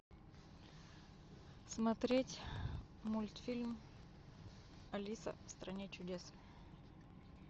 смотреть мультфильм алиса в стране чудес